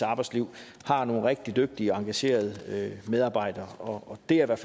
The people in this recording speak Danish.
arbejdsliv er nogle rigtig dygtige og engagerede medarbejdere og det er